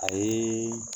A ye